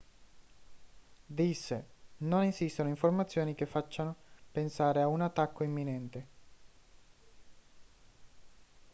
disse non esistono informazioni che facciano pensare a un attacco imminente